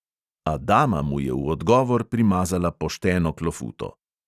A dama mu je v odgovor primazala pošteno klofuto.